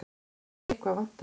En eitthvað vantar.